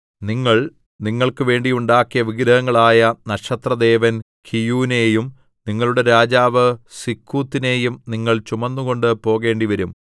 നിങ്ങൾ നിങ്ങൾക്കുവേണ്ടി ഉണ്ടാക്കിയ വിഗ്രഹങ്ങളായ നക്ഷത്രദേവൻ കീയൂനെയും നിങ്ങളുടെ രാജാവ് സിക്കൂത്തിനെയും നിങ്ങൾ ചുമന്നുകൊണ്ട് പോകേണ്ടിവരും